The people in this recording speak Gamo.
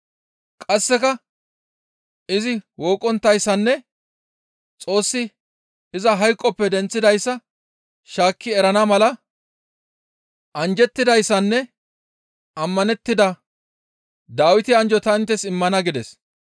Qasseka izi wooqqonttayssanne Xoossi iza hayqoppe denththidayssa shaakki erana mala, « ‹Anjjettidayssanne ammanettida Dawite anjjo ta inttes immana› gides.